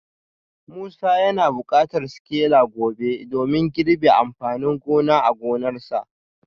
Musa yana bukatar sikila gobe domin girbin amfanin gona a gonarsa